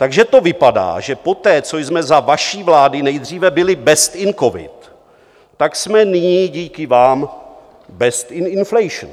Takže to vypadá, že poté, co jsme za vaší vlády nejdříve byli best in covid, tak jsme nyní díky vám best in inflation.